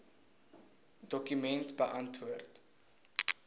dokument beantwoord